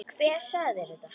Hver sagði mér þetta?